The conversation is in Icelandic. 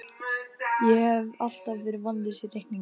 Ég hef alltaf verið vonlaus í reikningi